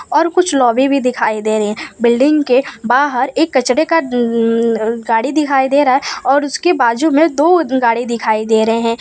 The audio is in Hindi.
और कुछ लॉबी भी दिखाई दे रहे हैं बिल्डिंग के बाहर एक कचरे का उम्म अ गाड़ी दिखाई दे रहा है और उसके बाजू में दो गाड़ी दिखाई दे रहे हैं।